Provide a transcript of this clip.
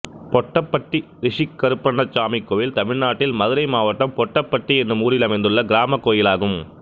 பொட்டப்பட்டி ரிஷிக் கருப்பணசாமி கோயில் தமிழ்நாட்டில் மதுரை மாவட்டம் பொட்டப்பட்டி என்னும் ஊரில் அமைந்துள்ள கிராமக் கோயிலாகும்